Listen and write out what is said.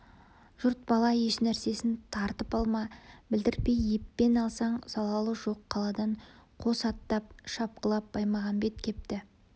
жұрт бала ешнәрсесін тартып алма білдіртпей еппен алсаң залалы жоқ қаладан қос аттап шапқылап баймағамбет кепті